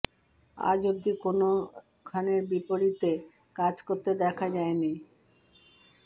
আজ অবধি কোনও খানের বিপরীতে কাজ করতে দেখা যায়নি